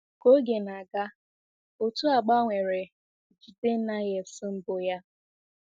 Ka oge na-aga, otu a gbanwere bJidennaefs mbụ ya.